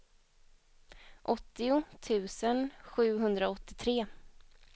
åttio tusen sjuhundraåttiotre